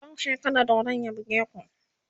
ku kauche kada dodon ya buge ku!